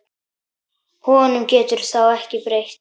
Honum getur þú ekki breytt.